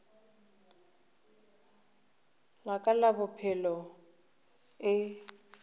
la ka la bophelo e